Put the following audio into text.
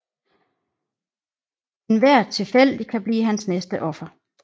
Enhver tilfældig kan blive hans næste offer